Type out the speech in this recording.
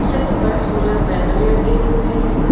छत पर solar panel लगे हुए हैं।